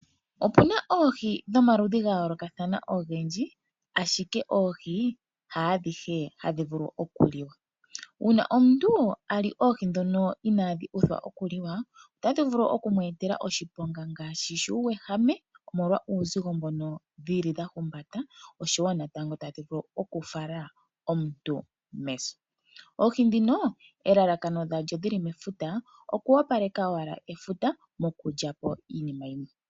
Opuna Oohi dhomaludhi gayolokathana ogendji ashike Oohi hadhihe hadhivulu okuliwa uuna omuntu ali Oohi dhoka iinadhuuthwa okuliwa otadhi vulu okumwetela oshiponga ngaashi shuuwehame omolwa uuzigo mbono dhili dhahumbata oshowo natango tadhi vulu okufala omuntu meso. Oohi dhino elalakano dhalyo dhili mefuta okuwopaleka owala efuta nokutyapo iinima yimwe.